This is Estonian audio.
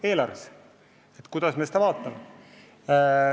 Oleneb, kuidas vaadata.